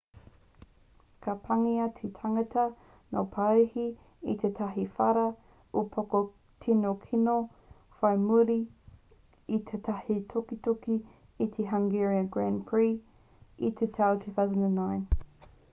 ka pāngia te tangata no parihi e tētahi whara upoko tino kino whai muri i tētahi tukituki i te hungarian grand prix i te tau 2009